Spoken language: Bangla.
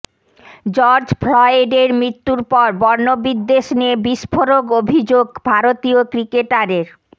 জর্জ ফ্লয়েডের মৃত্যুর পর বর্ণবিদ্বেষ নিয়ে বিস্ফোরক অভিযোগ ভারতীয় ক্রিকেটারের